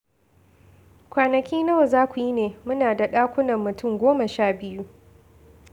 Kwanaki nawa za ku yi ne? Muna da ɗakunan mutum goma sha biyu